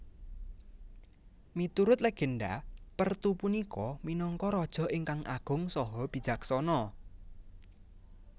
Miturut legenda Pertu punika minangka raja ingkang agung saha bijaksana